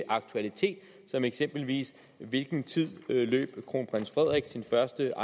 aktualitet som eksempelvis hvilken tid løb kronprins frederik sin første